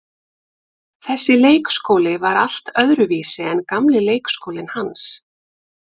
Þessi leikskóli var allt öðruvísi en gamli leikskólinn hans.